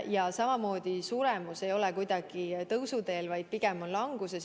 Ja samamoodi suremus ei ole kuidagi tõusuteel, vaid pigem on languses.